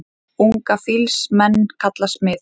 Unga fýls menn kalla smið.